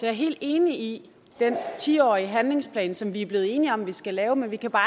er helt enig i den ti årige handlingsplan som vi er blevet enige om vi skal lave men vi kan bare